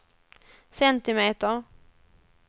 centimeter